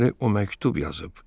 Deməli o məktub yazıb.